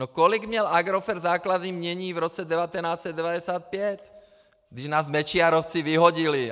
No, kolik měl Agrofert základní jmění v roce 1995, když nás Mečiarovci vyhodili?